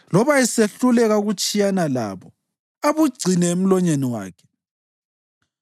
loba esehluleka ukutshiyana labo abugcine emlonyeni wakhe,